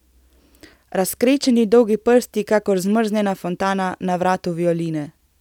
Razkrečeni dolgi prsti kakor zamrznjena fontana na vratu violine.